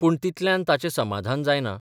पूण तितल्यान ताचें समाधान जायना.